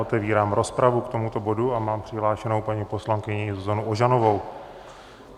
Otevírám rozpravu k tomuto bodu a mám přihlášenou paní poslankyni Zuzanu Ožanovou.